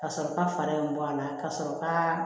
Ka sɔrɔ ka fara in bɔ a la ka sɔrɔ ka